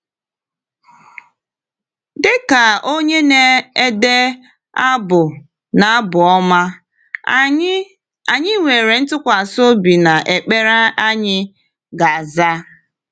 Dịka onye na-ede abụ n’Abụ Ọma, anyị anyị nwere ntụkwasị obi na ekpere anyị ga-aza.